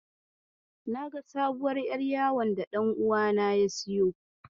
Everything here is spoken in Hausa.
Naga sabuwar ƴar yawon da ɗan uwana ya siyo.